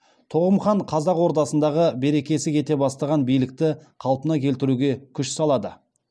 тоғым хан қазақ ордасындағы берекесі кете бастаған билікті қалпына келтіруге күш салады